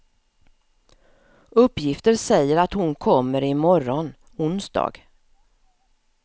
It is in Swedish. Uppgifter säger att hon kommer i morgon, onsdag.